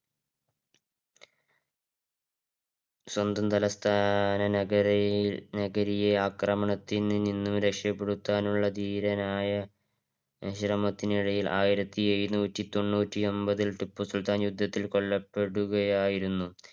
സ്വന്തയം തലസ്ഥാന നഗരിയെ ആക്രമണത്തിൽ നിന്ന് രക്ഷപ്പെടുത്താനുള്ള ധീരനായ ശ്രമത്തിനൊടുവിൽ ആയിരത്തി എഴുന്നൂറ്റി തൊണ്ണൂറ്റി ഒമ്പത്തില് ടിപ്പു സുൽത്താൻ യുദ്ധത്തില് കൊല്ലപ്പെടുകയായിരുന്നു